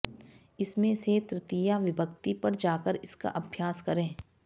इसमें से तृतीया विभक्ति पर जाकर इसका अभ्यास करें